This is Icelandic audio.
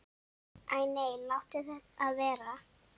Æ nei, láttu það vera.